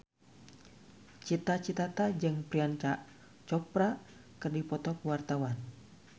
Cita Citata jeung Priyanka Chopra keur dipoto ku wartawan